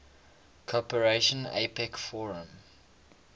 cooperation apec forum